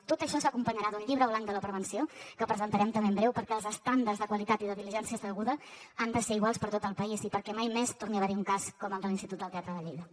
tot això s’acompanyarà d’un llibre blanc de la prevenció que presentarem també en breu perquè els estàndards de qualitat i de diligència deguda han de ser iguals per tot el país i perquè mai més torni a haver hi un cas com el de l’institut del teatre de lleida